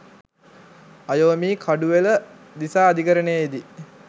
අයෝමි කඩුවෙල දිසා අධිකරණයේදී